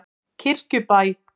Kirkjubæ